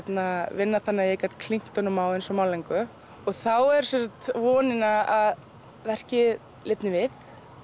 vinna þannig að ég gat klínt honum á eins og málningu þá er vonin að verkið lifni við